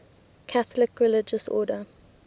catholic religious order